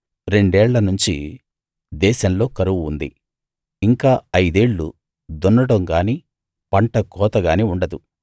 రెండేళ్ళ నుంచి దేశంలో కరువు ఉంది ఇంకా ఐదేళ్ళు దున్నడం గానీ పంటకోత గానీ ఉండదు